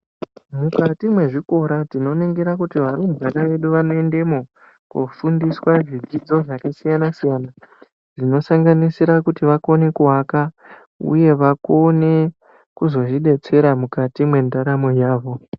Mukati mwezvikora tinoningira kuti varumbwana vedu vanoendemwo koodzidziswa zvidzidzo zvakasiyana siyana zvinosanganisira kuti vakone kuvaka uye vakone kuzozvidetsera mukati mwendaramo yavo.